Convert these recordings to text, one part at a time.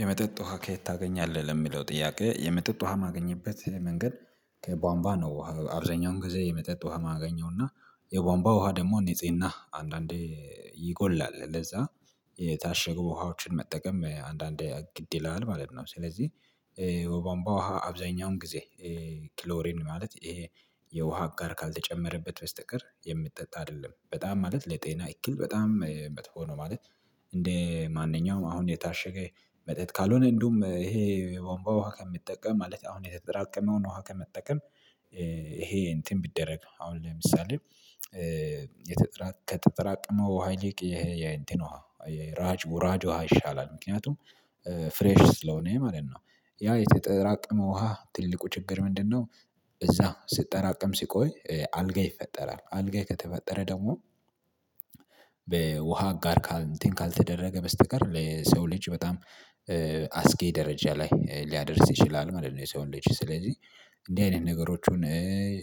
የመጠጥ ውሃ ከየት ታገኛለህ ለሚለው ጥያቄ የመጠጥ ውሃ ማገኘበት መንገድ ከቧንቧ ነው። አብዛኛውን ጊዜ የመጠጥ ውሃ ማገኘውና የቧንቧ ውሃ ደግሞ ጊዜ እና ና አንዳንዴ ይጎላል ለዛ የታሸገው ውሃዎችን መጠቀም አንዳንዴ ግድ ይላል ማለት ነው። ስለዚህ የቧንቧ ውሃ አብዛኛውን ጊዜ ክሎሬን ማለት ይሄ የውሃ ጋር ካልተጨመረበት በስተቀር የምትጠጣ አይደለም በጣም ማለት ለጤና ይክል በጣም መጥፎ ነው። ማለት እንደ ማንኛውም አሁን የታሸገ መጠጥ ካልሆነ እንደውም ይሄ የወንባ ውሃ ከምጠቀም ማለት አሁን የተጠራቀመውን ውሃ ከምትጠቀም። ይሄ እንትን ቢደረግ አሁን ለምሳሌ የተጠራቀመው ውሃ ይልቅ የእንትኑ ውሃ ይልቅ ሯጭ ውሃ ይሻላል ምክንያቱም ፍሬሽ ስለሆነ ማለት ነው ያ የተጠራቀመ ውሃ ትልቁ ችግር ምንድነው? እዛ ስትጠራቀም ሲቆይ አልጋይ ይፈጠራል አልጋይ ከተፈጠረ ደግሞ በውሃ አጋር እንትን ካልተደረገ በስተቀር ለሰው ልጅ በጣም አስጌ ደረጃ ላይ ሊያደርስ ይችላል ማለት ነው። የሰውነት ስለዚህ እንደዚህ አይነት ነገሮችን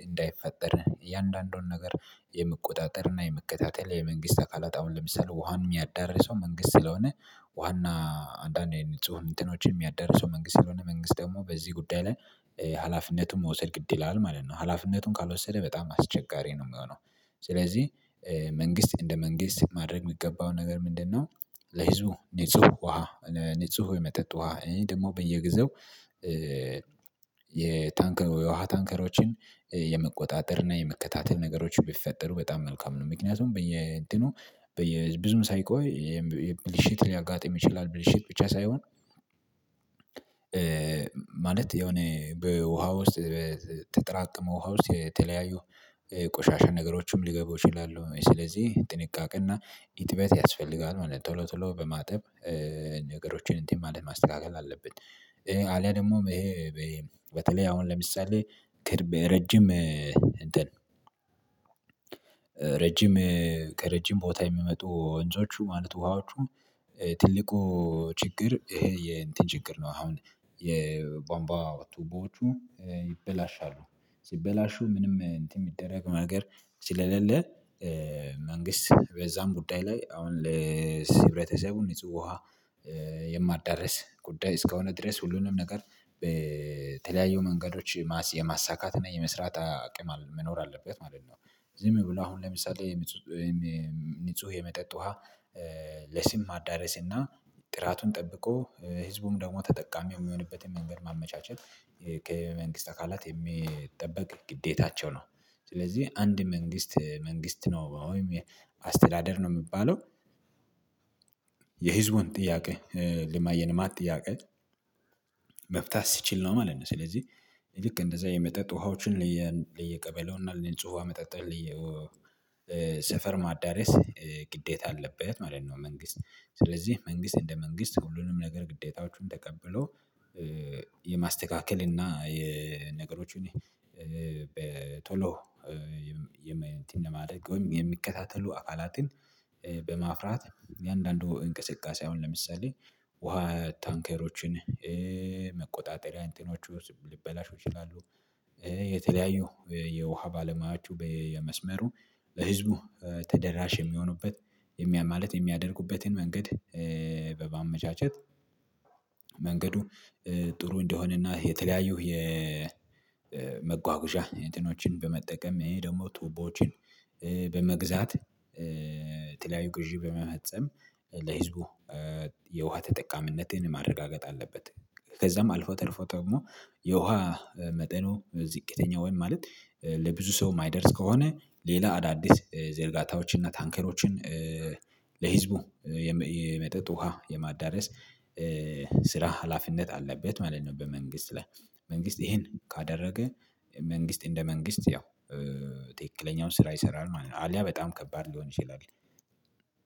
እንዳይፈጠር እያንዳንዱን ነገር የምቆጣጠር እና የመከታተል የመንግስት አካላት አሁን ለምሳሌ ውሃን የሚያዳርሰው መንግስት ስለሆነ ዋና አንዳንዴ ንጹህ እንትኖች የሚያደርሰው መንግስት ስለሆነ መንግስት ደግሞ በዚህ ጉዳይ ላይ ሀላፊነቱን መውሰድ ግድ ይላል ማለት ነው። ሀላፊነቱን ካልወሰደ በጣም አስቸጋሪ ነው የሚሆነው ስለዚህ መንግስት እንደ መንግስት ማድረግ የሚገባው ነገር ምንድነው? ለህዝቡ ንጹህ ውሃ ንጹህ የመጠጥ ውሃ እና ደግሞ በየጊዜው የታንከር የውሃ ታንከሮችን የመቆጣጠር እና የመከታተል ነገሮችን ቢፈጠሩ በጣም መልካም ነው። ምክንያቱም በየድኑ በየ ብዙም ሳይቆይ የሚል የብልሽት ሊያጋጥም ይችላል ብልሽት ብቻ ሳይሆን ማለት የሆነ በውሃ ውስጥ ተጠራቅሞ ውሃ ውስጥ የተለያዩ ቆሻሻ ነገሮችም ሊገቡ ይችላሉ ስለዚህ ጥንቃቄና ኢጥበት ያስፈልጋል ማለት ነው። ቶሎ ቶሎ በማጠብ ነገሮችን እንትን ማለት ማስተካከል አለበት። አሊያ ደግሞ ይሄ በተለይ አሁን ለምሳሌ ረጅም እንትን ረጅም ከረጅም ቦታ የሚመጡ ወንዞቹ ማለት ውሃዎቹ ትልቁ ችግር ይሄ የእንትን ችግር ነው። አሁን የቧንቧ ቱቦዎቹ ይበላሻሉ ሲበላሹ ምንም እንትን የሚደረግ ነገር ስለሌለ መንግስት በዛም ጉዳይ ላይ አሁን ለህብረተሰቡ ንጹህ ውሃ የማደርስ ጉዳይ እስከሆነ ድረስ ሁሉንም ነገር በተለያዩ መንገዶች የማሳካት እና የመስራት አቅም መኖር አለበት ማለት ነው። ዝም ብሎ አሁን ለምሳሌ ንጹህ የመጠጥ ውሃ ለስም ማዳረስ እና ጥራቱን ጠብቆ ህዝቡም ደግሞ ተጠቃሚ የሚሆንበትን መንገድ ማመቻቸት ከመንግስት አካላት የሚጠበቅ ግዴታቸው ነው። ስለዚህ አንድ መንግስት መንግስት ነው ወይም የአስተዳደር ነው የሚባለው የህዝቡን ጥያቄ የልማት ጥያቄ መፍታት ሲችል ነው ማለት ነው። ስለዚህ ልክ እንደዛ የመጠጥ ውሃዎችን ለየቀበሌውና ንጹህ ውሃ መጠጣልኝ ሰፈር ማዳረስ ግዴታ አለበት ማለት ነው። መንግስት ስለዚህ መንግስት እንደ መንግስት ሁሉንም ነገር ግዴታዎቹን ተቀብሎ የማስተካከል እና የነገሮች በቶሎ እንትን ለማድረግ ወይም የሚከታተሉ አካላትን በማፍራት የአንዳንዱ እንቅስቃሴ አሁን ለምሳሌ ውሃ ታንከሮችን መቆጣጠሪያ እንትኖቹ ልበላሹ ይችላሉ። የተለያዩ የውሃ ባለሙያችሁ በመስመሩ ለህዝቡ ተደራሽ የሚሆኑበት የሚያም ማለት የሚያደርጉበትን መንገድ በማመቻቸት መንገዱ ጥሩ እንደሆነና የተለያዩህ የ የመጓጉዣ እንትኖችን በመጠቀም ይሄ ደግሞ ቱቦዎችን በመግዛት ተለያዩ ግዢ በመፈፀም ለህዝቡ የውሃ ተጠቃሚነትን ማረጋገጥ አለበት። ከዛም አልፎ ተርፎ ደግሞ የውሃ መጠኑ ዝቅተኛ ወይም ማለት ለብዙ ሰው የማይደርስ ከሆነ ሌላ አዳዲስ ዝርጋታዎችን እና ታንከሮችን ለህዝቡ የመጠጥ ውሃ የማዳረስ ስራ ሀላፊነት አለበት ማለት ነው። በመንግስት ላይ መንግስት ይሄን ካደረገ መንግስት እንደ መንግስት ያው ትክክለኛውን ስራ ይሰራል ማለት ነው። አልያ በጣም ከባድ ሊሆን ይችላል።